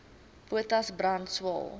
potas brand swael